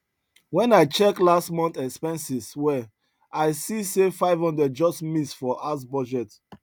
when i check last month expenses well i see say 500 just miss for house budget